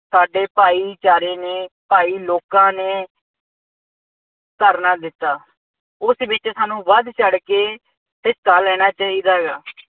ਸਾਡੇ ਭਾਈਚਾਰੇ ਨੇ ਭਾਈ ਲੋਕਾਂ ਨੇ ਧਰਨਾ ਦਿੱਤਾ। ਉਸ ਵਿੱਚ ਸਾਨੂੰ ਵੱਧ ਚੜ੍ਹ ਕੇ ਹਿੱਸਾ ਲੈਣਾ ਚਾਹੀਦਾ ਹੈਗਾ।